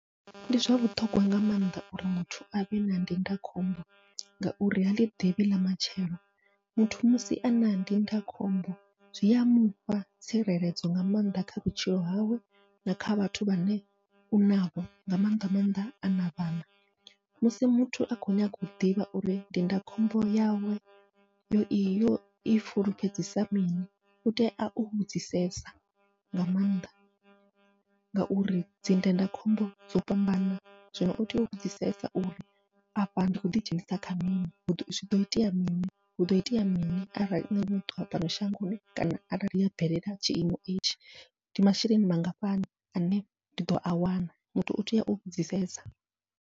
Ndi zwa vhuṱhogwa nga maanḓa uri muthu avhe na ndindakhombo, ngauri haḽi ḓivhi ḽa matshelo muthu musi ana ndindakhombo zwia mufha tsireledzo nga maanḓa kha vhutshilo hawe na kha vhathu vhane u navho, nga maanḓa maanḓa ana vhana musi muthu a khou nyanga u ḓivha uri ndindakhombo yawe yo i yo i fulufhedzisa mini, utea u vhudzisesa nga maanḓa. Ngauri dzi ndindakhombo dzo fhambana zwino utea u vhudzisesa, uri afha ndi khou ḓidzhenisa kha mini huḓo itea mini huḓo itea mini arali muthu wa fhano a ṱuwa shangoni, kana arali ha bvelela tshiimo itshi ndi masheleni mangafhani ane ndi ḓoa wana muthu utea u vhudzisesa.